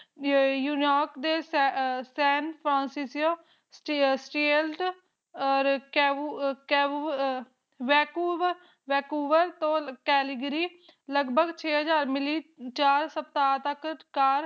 ਤੋਂ ਕੈਲਗਰੀ ਤੋਂ ਲੱਗ ਭਾਗ ਚਾਰ ਹਾਜ਼ਰ ਕਿਲੰਏਟ